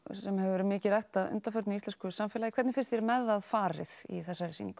sem hefur verið mikið rætt að undanförnu í íslensku samfélagi hvernig finnst þér með það farið í þessari sýningu